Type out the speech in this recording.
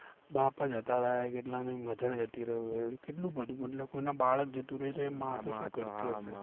બાપ જ જતા રયા કેટલાની mother જતી રયું એવી કેટલું મોટું મતલબ એના બાળક જતું રયું તો એ માં તો શું કરતી હયશે